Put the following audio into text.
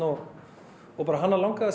hana langaði að